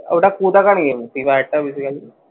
ওটা কোথাকার game? Free ফায়ারটা basically